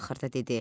Axırda dedi: